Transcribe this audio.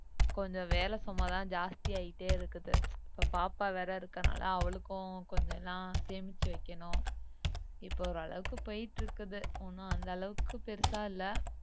கொஞ்சம் வேலை சுமைதான் ஜாஸ்தி ஆயிட்டே இருக்குது இப்போ பாப்பா வேற இருக்கிறதுனாலே அவளுக்கும் கொஞ்சம் எல்லாம் சேமிச்சு வைக்கணும் இப்போ ஒரு அளவுக்கு போயிட்டு இருக்குது ஒன்னும் அந்த அளவுக்கு பெருசா இல்லை